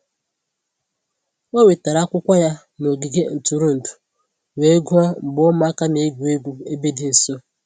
Ọ wetara akwụkwọ ya n'ogige ntụrụndụ wee gụọ mgbe ụmụaka na-egwu egwu ebe dị nso